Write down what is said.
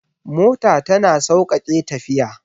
Mota tana sauƙaƙe tafiya